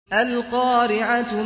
الْقَارِعَةُ